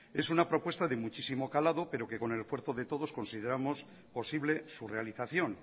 es una propuesta de muchísimo calado pero que con el esfuerzo de todos consideramos posible su realización